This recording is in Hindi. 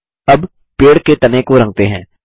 अब पेड़ के तने को रंगते हैं